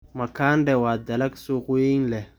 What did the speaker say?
Makande waa dalag suuq weyn leh.